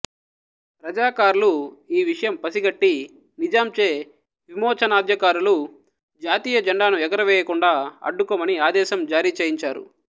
రజాకార్లు ఈ విషయం పసిగట్టి నిజాంచే విమోచనొద్యకారులు జాతీయజెండాను ఎగువరవేయకుండా అడ్డుకోమని ఆదేశం జారీచేయించారు